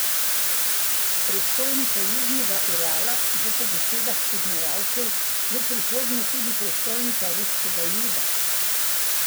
Prestolnica Južnega Urala bo po besedah poznavalcev v prihodnje tudi prestolnica ruskega juda.